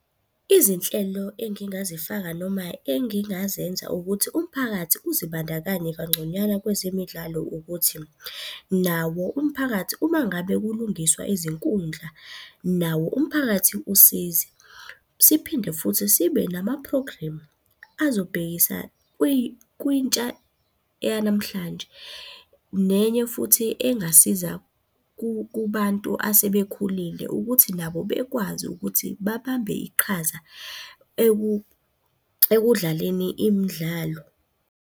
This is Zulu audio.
Izinhlelo engingazifaka noma engingazenza ukuthi umphakathi uzibandakanye kangconywana kwezemidlalo ukuthi, nawo umphakathi uma ngabe kulungiswa izinkundla nawo umphakathi usize. Siphinde futhi sibe nama-program, azobhekisa kwintsha yanamhlanje nenye futhi engasiza kubantu asebekhulile ukuthi nabo bekwazi ukuthi babambe iqhaza ekudlaleni imidlalo.